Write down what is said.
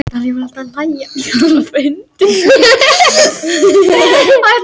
Myndir: Íslenski þjóðbúningurinn- Þjóðbúningaráð.